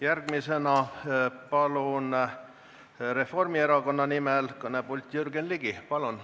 Järgmisena palun Reformierakonna nimel kõnelema Jürgen Ligi!